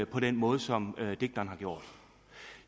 på den måde som digteren har gjort